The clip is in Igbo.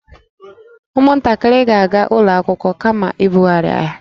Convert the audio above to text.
Ụmụntakịrị ga-aga ụlọ akwụkwọ kama ịbughari ahịa